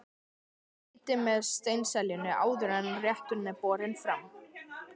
Skreytið með steinseljunni áður en rétturinn er borinn fram.